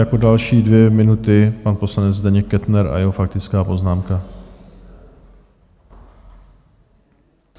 Jako další dvě minuty pan poslanec Zdeněk Kettner a jeho faktická poznámka.